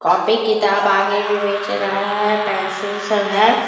Copy किताब आगे में बेच रहा है पेंसिल सब है।